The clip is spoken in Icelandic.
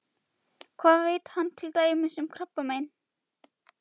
Hvað veit hann til dæmis um krabbamein?